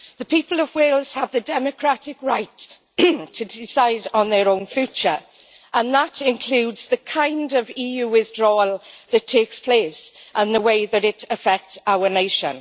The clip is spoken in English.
The people of Wales have the democratic right to decide on their own future, and that includes the kind of EU withdrawal that takes place and the way that it affects our nation.